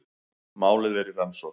Málið er í rannsókn